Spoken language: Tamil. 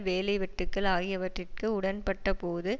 வேலை வெட்டுக்கள் ஆகியவற்றிற்கு உடன்பட்ட போது